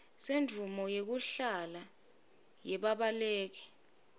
semvumo yekuhlala yebabaleki